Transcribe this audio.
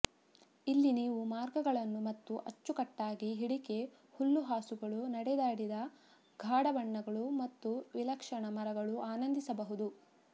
ಇಲ್ಲಿ ನೀವು ಮಾರ್ಗಗಳನ್ನು ಮತ್ತು ಅಚ್ಚುಕಟ್ಟಾಗಿ ಹಿಡಿಕೆ ಹುಲ್ಲುಹಾಸುಗಳು ನಡೆದಾಡಿದ ಗಾಢ ಬಣ್ಣಗಳು ಮತ್ತು ವಿಲಕ್ಷಣ ಮರಗಳು ಆನಂದಿಸಬಹುದು